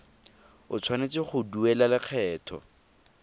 o tshwanetse go duela lekgetho